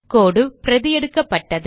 கோடு பிரதி எடுக்கப்பட்டது